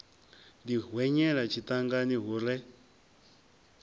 ḓi hwenyela tshiṱangani hu re